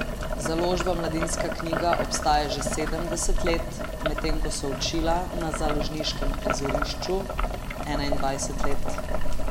Založba Mladinska knjiga obstaja že sedemdeset let, medtem ko so Učila na založniškem prizorišču enaindvajset let.